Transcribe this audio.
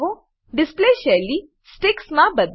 display શૈલી sticks sticks માં બદલો